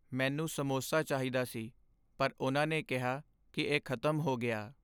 ਮੈਨੂੰ ਸਮੋਸਾ ਚਾਹੀਦਾ ਸੀ ਪਰ ਉਨ੍ਹਾਂ ਨੇ ਕਿਹਾ ਕਿ ਇਹ ਖ਼ਤਮ ਹੋ ਗਿਆ।